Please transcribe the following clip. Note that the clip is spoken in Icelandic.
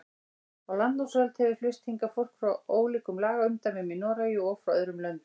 Á landnámsöld hefur flust hingað fólk frá ólíkum lagaumdæmum í Noregi og frá öðrum löndum.